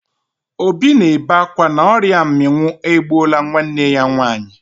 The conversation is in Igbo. Obi na-ebe akwa na ọrịa mminwụ egbuola nwanne ya nwaanyị.